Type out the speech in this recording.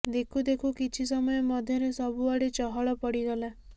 ଦେଖୁ ଦେଖୁ କିଛିସମୟ ମଧ୍ୟରେ ସବୁ ଆଡେ ଚହଳ ପଡିଗଲା